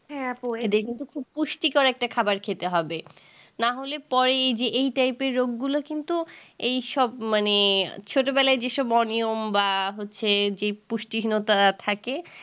খুব পুষ্টিকর একটা খাবার খেতে হবে নাহলে পরে এই যে এই type এর রোগগুলো কিন্তু এইসব মানে ছোটবেলায় যেসব অনিয়ম বা হচ্ছে যে পুষ্টিহীনতা থাকে